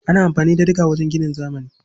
Ana amfani da diga wajen ginin zamani.